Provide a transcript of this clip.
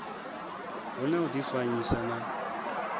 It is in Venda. hu na u difanyisa na